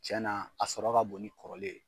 Cɛnaa a sɔrɔ ka bon ni kɔrɔlen.